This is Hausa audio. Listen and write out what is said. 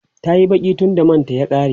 tayi Baki tunda manta ya ƙare